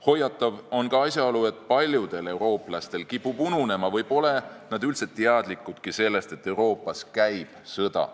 Hoiatav on ka asjaolu, et paljudel eurooplastel kipub ununema või pole nad üldse teadlikudki sellest, et Euroopas käib sõda.